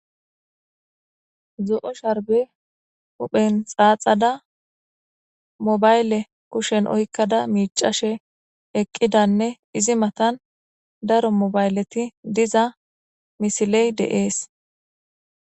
Zo,o sharbe huphen xaaxada mobayle kushen oykkada miicashe eqqidanne izi matan daro mobayleti diza misiley deees